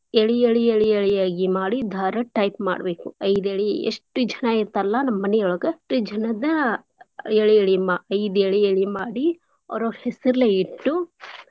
ಎಳಿ ಎಳಿ ಎಳಿ ಎಳಿಯಾಗಿ ದಾರ type ಮಾಡ್ಬೇಕು ಐದೆಳಿ ಎಷ್ಟ್ ಜನ ಇರ್ತಾರಲ್ಲ ನಮ್ಮನಿಯೊಳಗ ಅಷ್ಟು ಜನದ್ ಎಳಿ ಎಳಿ ಮಾ~ ಐದ್ ಎಳಿ ಎಳಿ ಮಾಡಿ ಅವ್ರವ್ರ್ ಹೆಸರ್ಲೇ ಇಟ್ಟು .